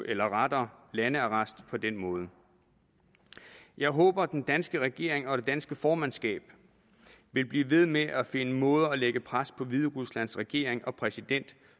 eller rettere landearrest på den måde jeg håber den danske regering og det danske formandskab vil blive ved med at finde måder at lægge pres på hvideruslands regering og præsident